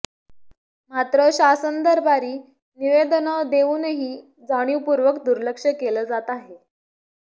मात्र शासन दरबारी निवदेनं देऊनही जाणीवपूर्वक दुर्लक्ष केलं जात आहे